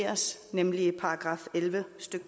stede